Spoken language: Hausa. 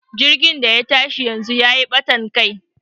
jirgin da ya tashi yanzu ya yi batan Kai